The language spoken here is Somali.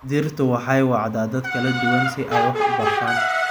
Dhirtu waxay wacdaa dad kala duwan si ay wax u bartaan.